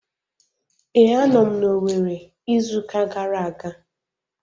Ee, a nọ m na Owerri izu uka gara aga